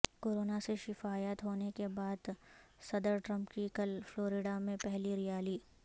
corona سے شفایاب ہونے کے بعد صدرٹرمپ کی کل فلوریڈا میں پہلی ریالی